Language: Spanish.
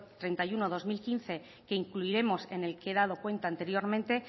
treinta y uno barra dos mil quince que incluiremos en el que he dado cuenta anteriormente